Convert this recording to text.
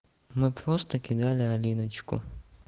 ну просто кидали алиночку